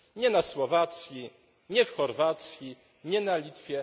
Nie na Słowacji, nie w Chorwacji, nie na Litwie.